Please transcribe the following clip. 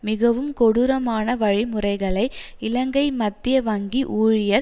மிகவும் கொடூரமான வழிமுறைகளை இலங்கை மத்திய வங்கி ஊழியர்